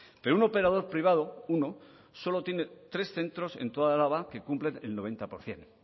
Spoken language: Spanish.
pero un operador privado uno solo tiene tres centros en todo álava que cubren el noventa por ciento